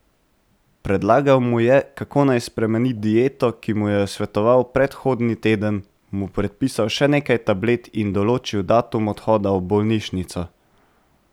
Predlagal mu je, kako naj spremeni dieto, ki mu jo je svetoval predhodni teden, mu predpisal še nekaj tablet in določil datum odhoda v bolnišnico.